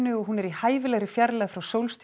og hún er í hæfilegri fjarlægð frá